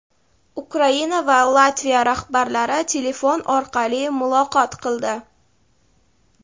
Ukraina va Latviya rahbarlari telefon orqali muloqot qildi.